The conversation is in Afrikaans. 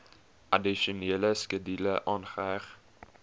addisionele skedule aangeheg